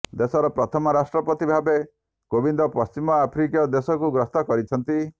ଦେଶର ପ୍ରଥମ ରାଷ୍ଟ୍ରପତି ଭାବେ କୋବିନ୍ଦ ପଶ୍ଚିମ ଆଫ୍ରିକୀୟ ଦେଶକୁ ଗସ୍ତ କରିଛନ୍ତି